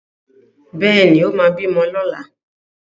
Bẹ́ẹ̀ ni, ó máa bímọ lọ́la.